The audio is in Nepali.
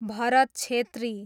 भरत छेत्री